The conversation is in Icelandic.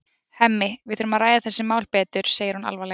Hemmi, við þurfum að ræða þessi mál betur, segir hún alvarleg.